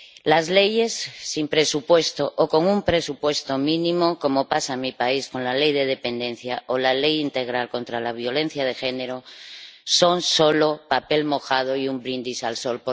Las leyes, sin presupuesto o con un presupuesto mínimo, como pasa en mi país con la Ley de dependencia o la Ley integral contra la violencia de género, son solo papel mojado y un brindis al sol.